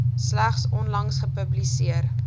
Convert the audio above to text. slegs onlangs gepubliseer